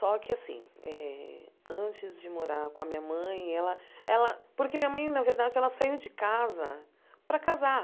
Só que assim eh, antes de morar com a minha mãe, ela ela... Porque minha mãe, na verdade, ela saiu de casa para casar.